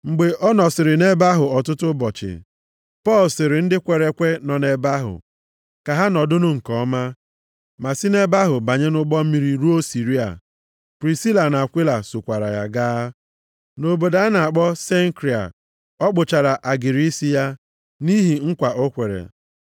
Mgbe ọ nọsịrị nʼebe ahụ ọtụtụ ụbọchị, Pọl sịrị ndị kwere ekwe nọ nʼebe ahụ ka ha nọdụnụ nke ọma, ma si nʼebe ahụ banye nʼụgbọ mmiri ruo Siria. Prisila na Akwila sokwaara ya gaa. Nʼobodo a na-akpọ Senkria, ọ kpụchara agịrị isi ya, nʼihi nkwa o kwere.